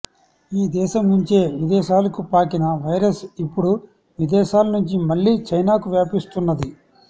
ఈ దేశం నుంచే విదేశాలకు పాకిన వైరస్ ఇప్పుడు విదేశాల నుంచి మళ్లీ చైనాకు వ్యాపిస్తున్నది